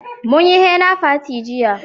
Mun yi hena fati jiya